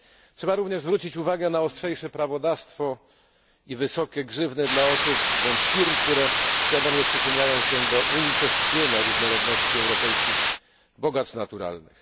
Trzeba również zwrócić uwagę na ostrzejsze prawodawstwo i wysokie grzywny dla osób bądź firm, które świadomie przyczyniają się do unicestwienia różnorodności europejskich bogactw naturalnych.